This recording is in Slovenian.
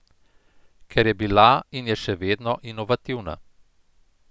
Ker je bila in je še vedno inovativna.